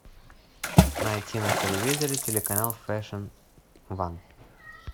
найти на телевизоре телеканал фэшн ван